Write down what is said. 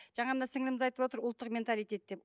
жаңа мына сіңіліміз айтып отыр ұлттық менталитет деп